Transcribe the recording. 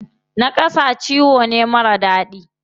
Naƙasa ciwo ne marar daɗi.